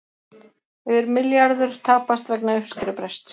Yfir milljarður tapast vegna uppskerubrests